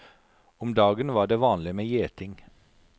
Om dagen var det vanlig med gjeting.